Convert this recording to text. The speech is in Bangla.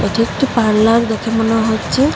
এটি একটি পার্লার দেখে মনে হচ্ছে।